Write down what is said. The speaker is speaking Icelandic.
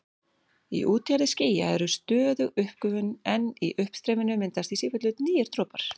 Í útjaðri skýja er stöðug uppgufun en í uppstreyminu myndast í sífellu nýir dropar.